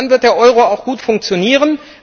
Dann wird der Euro auch gut funktionieren.